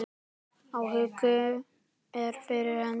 Ef áhuginn er fyrir hendi.